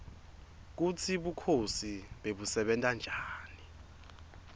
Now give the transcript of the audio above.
kutsi bukhosi bebusebenta njani